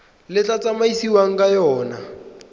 le tla tsamaisiwang ka yona